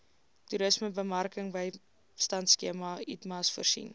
toerismebemarkingbystandskema itmas voorsien